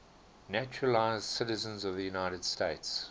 naturalized citizens of the united states